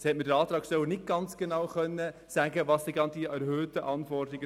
Das hat mir der Antragsteller nicht ganz genau sagen können.